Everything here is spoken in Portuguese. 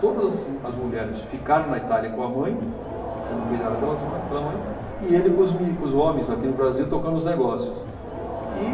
Todas as as mulheres ficaram na Itália com a mãe, sendo cuidada pelas mãe, pela mãe, e ele com os meni com os homens, aqui no Brasil, tocando os negócios. E